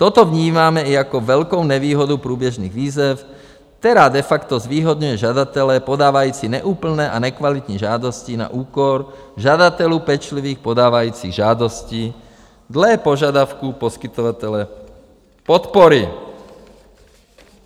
Toto vnímáme i jako velkou nevýhodu průběžných výzev, která de facto zvýhodňuje žadatele podávající neúplné a nekvalitní žádosti na úkor žadatelů pečlivých, podávajících žádosti dle požadavků poskytovatele podpory.